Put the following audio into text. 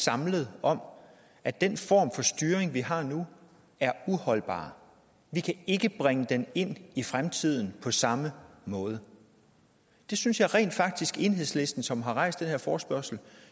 samlet om at den form for styring vi har nu er uholdbar vi kan ikke bringe den ind i fremtiden på samme måde det synes jeg rent faktisk enhedslisten som har rejst den her forespørgsel